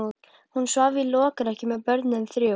Hún svaf í lokrekkju með börnin þrjú.